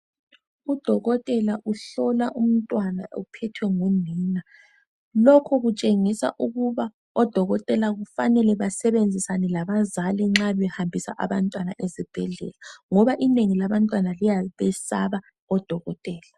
Udokotela uhlola umntwana ophethwe ngunina. Lokhu kutshengisa ukuba odokotela kufanele basebenzisane labazali nxa behambisa abantwana esibhedlela ngoba inengi labantwana liyabesaba odokotela.